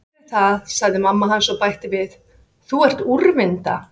Ég geri það, sagði mamma hans og bætti við: Þú ert úrvinda.